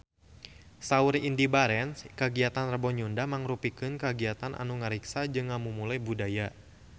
Saur Indy Barens kagiatan Rebo Nyunda mangrupikeun kagiatan anu ngariksa jeung ngamumule budaya Sunda